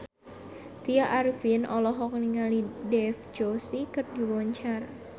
Tya Arifin olohok ningali Dev Joshi keur diwawancara